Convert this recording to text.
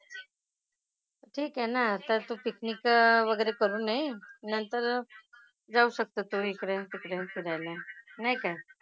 ठीक आहे ना. आता तू picnic वगैरे करून ये. नंतर जाऊ शकतात तुम्ही इकडे तिकडे फिरायला. नाही काय?